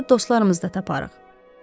Orada dostlarımızı da taparıq.